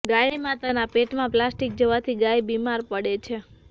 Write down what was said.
ગાય માતાનાં પેટમાં આ પ્લાસ્ટીક જવાથી ગાય બિમાર પડે છે